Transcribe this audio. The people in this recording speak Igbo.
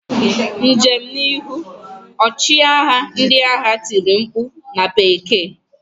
Njem n'ihu! Ọchịagha ndị agha tiri mkpu na bekee.